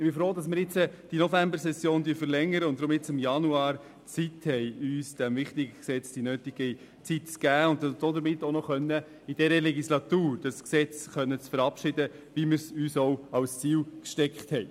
Ich bin froh, dass wir die Novembersession verlängern und deshalb nun im Januar Zeit haben, diesem Gesetz die nötige Zeit zu geben und es noch in dieser Legislatur verabschieden zu können, was wir uns zum Ziel gesetzt haben.